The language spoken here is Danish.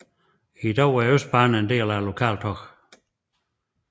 I dag er Østbanen en del af Lokaltog